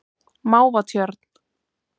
Mávatjörn